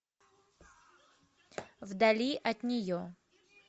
вдали от нее